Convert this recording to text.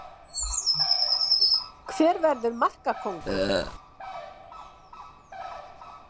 Hver verður markakóngur?